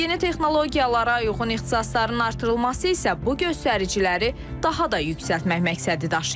Yeni texnologiyalara uyğun ixtisasların artırılması isə bu göstəriciləri daha da yüksəltmək məqsədi daşıyır.